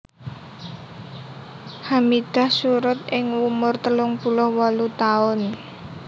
Hamidah surud ing umur telung puluh wolu taun